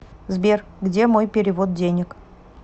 сбер где мой перевод денег